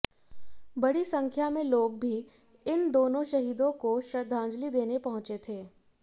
बड़ी संख्या में लोग भी इन दोनों शहीदों को श्रद्धांजलि देने पहुंचे थे